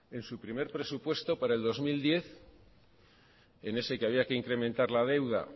en su primer presupuesto para el dos mil diez en ese que había que incrementar la deuda